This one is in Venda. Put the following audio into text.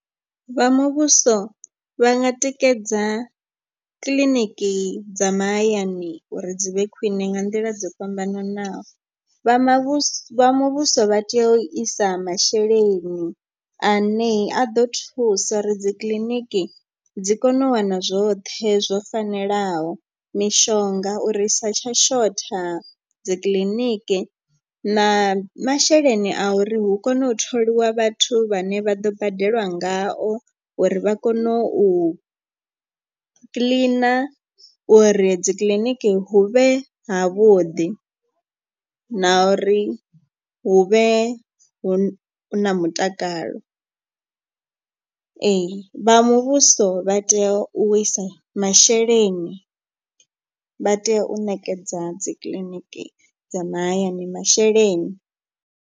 Vha muvhuso vha nga tikedza kiḽiniki dza mahayani uri dzi vhe khwine nga nḓila dzo fhambananaho. Vha mavhuso vha muvhuso vha tea u isa masheleni ane a ḓo thusa uri dzi kiḽiniki dzi kone u wana zwoṱhe zwo fanelaho. Mishonga uri u sa tsha shotha dzikiḽiniki na masheleni a uri hu kone u tholiwa vhathu vhane vha ḓo badelwa ngao. Uri vha kone u kiḽina uri dzikiḽiniki hu vhe ha vhuḓi. Na uri hu vhe hu na mutakalo ee vha muvhuso vha tea u wisa masheleni vha tea u nekedza dzikiḽiniki dza mahayani masheleni.